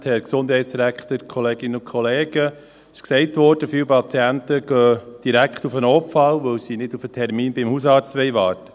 Viele Patienten gehen direkt auf den Notfall, weil sie nicht auf den Termin beim Hausarzt warten wollen.